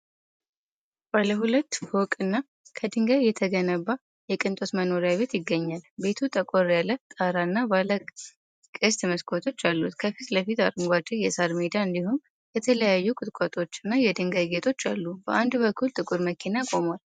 ባለ ሁለት ፎቅ እና ከድንጋይ የተገነባ የቅንጦት መኖሪያ ቤት ይገኛል። ቤቱ ጠቆር ያለ ጣራ እና ባለ ቅስት መስኮቶች አሉት። ከፊት ለፊት አረንጓዴ የሣር ሜዳ እንዲሁም የተለያዩ ቁጥቋጦዎች እና የድንጋይ ጌጦች አሉ። በአንድ በኩል ጥቁር መኪና ቆሟል።